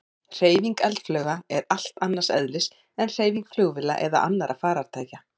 Hreyfing eldflauga er allt annars eðlis en hreyfing flugvéla eða annarra farartækja.